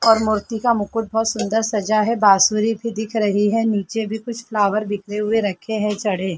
मूर्ति का मुकुट बहुत सुंदर सजा है बांसुरी भी दिख रही है नीचे भी कुछ फ्लावर्स बिखरे हुए रखे है चढ़े --